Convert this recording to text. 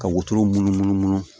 Ka wotoro munnu